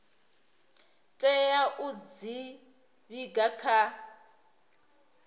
tea u dzi vhiga kha